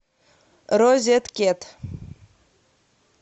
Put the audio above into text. розеткед